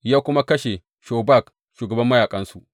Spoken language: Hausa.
Ya kuma kashe Shobak shugaban mayaƙansu.